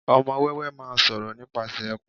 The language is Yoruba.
ọmọ wéwé ma ń sọ̀rọ̀ nípasẹ̀ ẹkùn